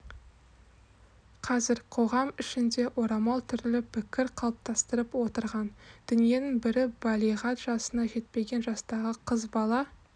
қазір қоғам ішінде орамал түрлі пікір қалыптастырып отырған дүниенің бірі балиғат жасына жетпеген жастағы қыз бала